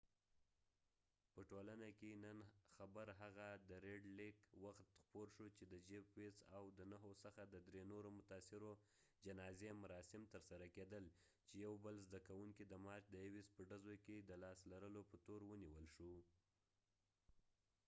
د ریډ لیک red lakeپه ټولنه کې نن خبر هغه وخت خپور شو چې دجیف ويس jeff weise او د نهو څخه د درې نورو متاثرو جنازی مراسم تر سره کېدل . چې یو بل زده کوونکې د مارچ د 21 په ډزو کې د لاس لرلو په تور و نیول شو